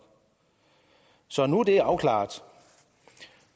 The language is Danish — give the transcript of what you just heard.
så nu er det afklaret